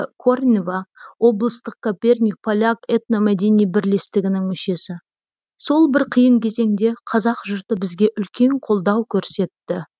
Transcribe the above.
корнева облыстық коперник поляк этномәдени бірлестігінің мүшесі сол бір қиын кезеңде қазақ жұрты бізге үлкен қолдау көрсетті